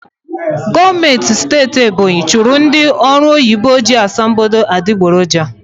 Gọọmmentị Steeti Ebonyi chụrụ ndị ọrụoyibo ji asambodo adigboroja.